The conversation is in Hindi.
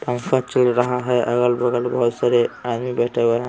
पंखा चल रहा है अगल-बगल बहुत सारे आदमी बैठा हुए है।